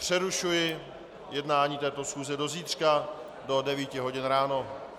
Přerušuji jednání této schůze do zítřka do 9 hodin ráno.